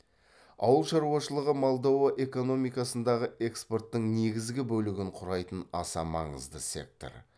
ауыл шаруашылығы молдова экономикасындағы экспорттың негізгі бөлігін құрайтын аса маңызды сектор